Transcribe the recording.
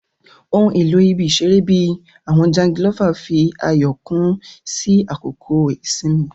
Ohun elo ibi-iṣere, bii awọn jangilova, fi ayọ kún sí àkókò ìsinmi.